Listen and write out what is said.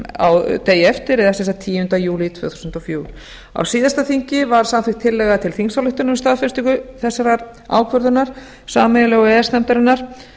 samningnum degi eftir eða tíunda júlí tvö þúsund og fjögur á síðasta þingi var samþykkt tillaga til þingsályktunar um staðfestingu þessarar ákvörðunar sameiginlegu e e s nefndarinnar